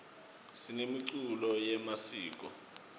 sinemiculo yemasiko